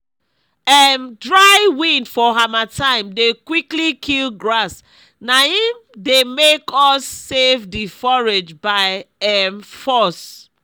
um dry wind for hamattan dey quickly kill grass na im dey make us save the forage by um force